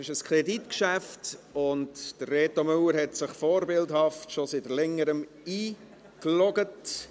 Es ist ein Kreditgeschäft, und Reto Müller hat sich vorbildlich, schon seit Längerem eingeloggt.